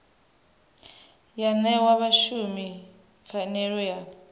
ya ṅea vhashumi pfanelo ya